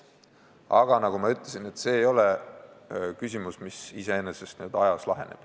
Aga nagu ma ütlesin, see ei ole küsimus, mis iseenesest aja jooksul laheneb.